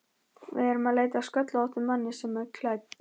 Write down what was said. Við erum að leita að sköllóttum manni sem er klædd